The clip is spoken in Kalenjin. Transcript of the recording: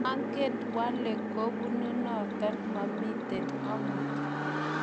manget wale kibunu noto mamito amut